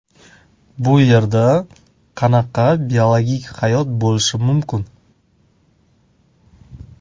Bu yerda qanaqa biologik hayot bo‘lishi mumkin?